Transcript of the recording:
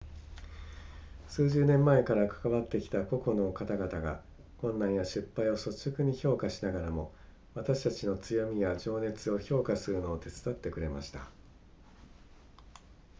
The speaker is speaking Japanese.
数十年前から関わってきた個人の方々が困難や失敗を率直に評価しながらも私たちの強みや情熱を評価するのを手伝ってくれました